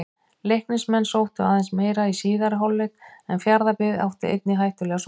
Leiknismenn sóttu aðeins meira í síðari hálfleik en Fjarðabyggð átti einnig hættulegar sóknir.